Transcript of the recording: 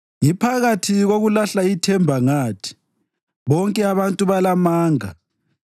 Ngiphakathi kokulahla ithemba ngathi, “Bonke abantu balamanga.”